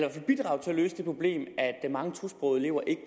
løse det problem at mange tosprogede elever ikke